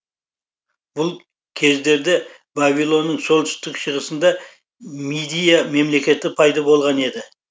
бұл кездерді вавилонның солтүстік шығысында мидия мемлекеті пайда болған еді